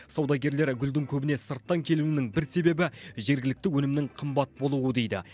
саудагерлер гүлдің көбіне сырттан келуінің бір себебі жергілікті өнімнің қымбат болуы дейді